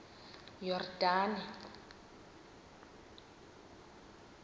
yordane